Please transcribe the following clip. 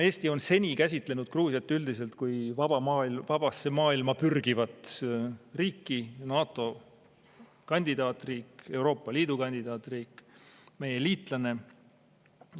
Eesti on seni käsitlenud Gruusiat üldiselt kui vabasse maailma pürgivat riiki: NATO kandidaatriik, Euroopa Liidu kandidaatriik, meie liitlane.